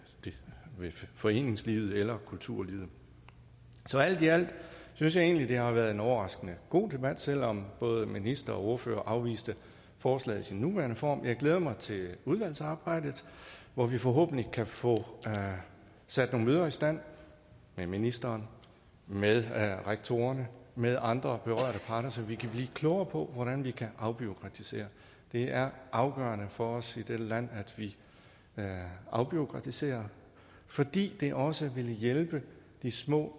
foreningslivet eller kulturlivet så alt i alt synes jeg egentlig at det har været en overraskende god debat selv om både minister og ordførere afviste forslaget i sin nuværende form jeg glæder mig til udvalgsarbejdet hvor vi forhåbentlig kan få sat nogle møder i stand med ministeren med rektorerne med andre berørte parter så vi kan blive klogere på hvordan vi kan afbureaukratisere det er afgørende for os i dette land at vi afbureaukratiserer fordi det også ville hjælpe de små